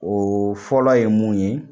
O fɔlɔ ye mun ye